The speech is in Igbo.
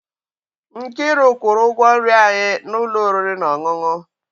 Nkiru kwụrụ ụgwọ nri anyị n'ụlọ oriri na ọṅụṅụ.